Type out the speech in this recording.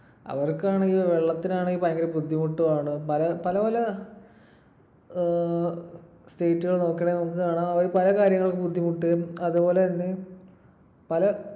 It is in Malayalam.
അവർക്കാണെങ്കിൽ വെള്ളത്തിനാണെങ്കിൽ ഭയങ്കര ബുദ്ധിമുട്ടുമാണ്. പല പല ഏർ state കൾ നോക്കുവാണേൽ നമുക്ക് കാണാം. അവർ പല കാര്യങ്ങൾക്ക് ബുദ്ധിമുട്ട്. അതുപോലെതന്നെ പല